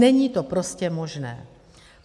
Není to prostě možné.